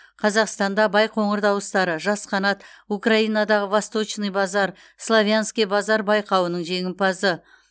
қазақстанда байқоңыр дауыстары жас қанат украинадағы восточный базар славянский базар байқауының жеңімпазы